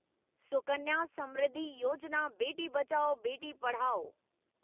Sukanya Samriddhi Yojana Beti Bachao Beti Padhao